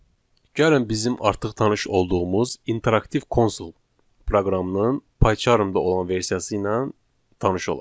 Gəlin bizim artıq tanış olduğumuz interaktiv konsol proqramının Pycharmda olan versiyası ilə tanış olaq.